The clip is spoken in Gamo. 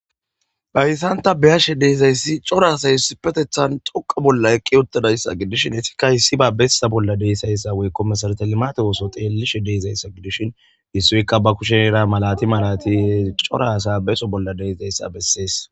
Bayssanta beyashe deezayssi corasa hiss petethan toqa bolla eqqi uttadayssa gidishin esikka hissi ba bessa bolla deessayssa woykkomesartalimate woso xeellishe deezayssa gidishin issuikka ba kushen era malati malati corasa beso bolla deesdayssa bessees.